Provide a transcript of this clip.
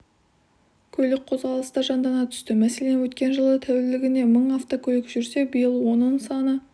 көлік қозғалысы да жандана түсті мәселен өткен жылы тәулігіне мың автөкөлік жүрсе биыл оның саны